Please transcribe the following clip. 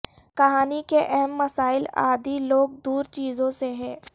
کہانی کے اہم مسائل عادی لوگ دور چیزوں سے ہے